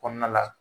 Kɔnɔna la